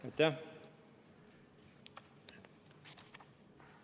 Aitäh!